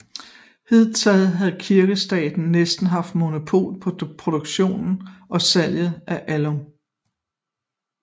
Hidtil havde Kirkestaten næsten haft monopol på produktion og salg af alun